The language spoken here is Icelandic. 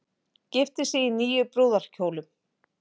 Gifti sig í níu brúðarkjólum